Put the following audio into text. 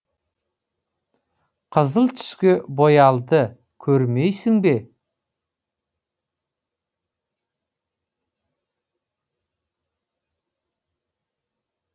қызыл түске боялды көрмейсің бе